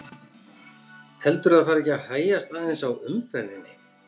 Heldurðu að það fari ekki að hægjast aðeins á umferðinni?